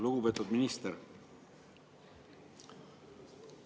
Lugupeetud minister!